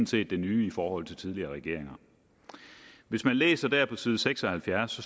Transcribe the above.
set det nye i forhold til tidligere regeringer hvis man læser der på side seks og halvfjerds